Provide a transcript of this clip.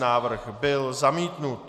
Návrh byl zamítnut.